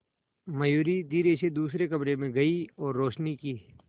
मयूरी धीरे से दूसरे कमरे में गई और रोशनी की